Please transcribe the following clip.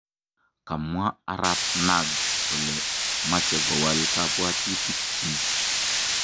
Kamwa arap Nagy kole mache kowal kabwatutik chiik